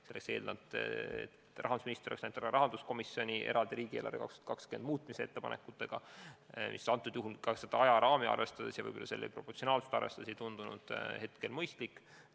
See oleks eeldanud seda, et rahandusminister oleks läinud rahanduskomisjoni eraldi tänavuse riigieelarve muutmise ettepanekutega, mis ka ajaraami arvestades ja võib-olla ka sammu proportsionaalsust arvestades ei tundunud mõistlik olevat.